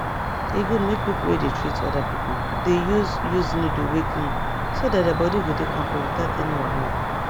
e good make people wey dey treat other people dey use use needle wey clean so that their body go dey kampe without any wahala